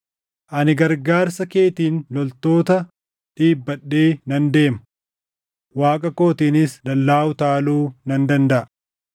Ani gargaarsa keetiin loltoota dhiibbadhee nan deema; Waaqa kootiinis dallaa utaaluu nan dandaʼa.